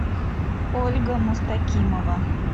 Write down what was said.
ольга мустакимова